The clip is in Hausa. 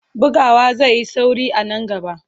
Bugawa zai yi sauri a nan gaba.